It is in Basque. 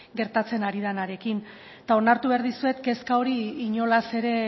gertatzen ari denarekin eta onartu behar dizuet kezka hori inolaz ere